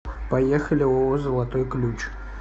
поехали ооо золотой ключ